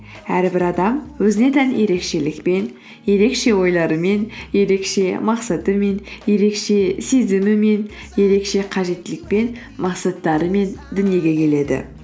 әрбір адам өзіне тән ерекшелікпен ерекше ойларымен ерекше мақсатымен ерекше сезімімен ерекше қажеттілікпен мақсаттарымен дүниеге келеді